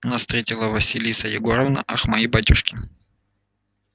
нас встретила василиса егоровна ах мои батюшки